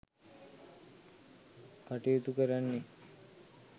කටයුතු කරන්නේ.